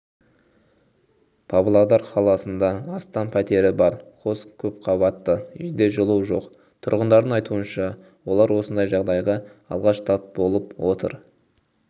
павлодар қаласында астам пәтері бар қос көпқабатты үйде жылу жоқ тұрғындардың айтуынша олар осындай жағдайға алғаш тап болып отыр